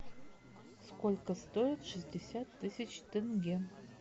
сколько стоит шестьдесят тысяч тенге